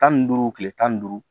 Tan ni duuru tile tan ni duuru